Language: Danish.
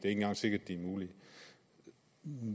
engang sikkert de er mulige